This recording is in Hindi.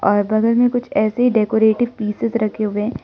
और बगल में कुछ ऐसे डेकोरेटिव पीसेज रखे हुए हैं।